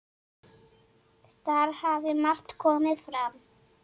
Þar hafi margt komið fram.